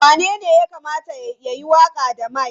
Wanene ya kamata ya yi waƙa da mic?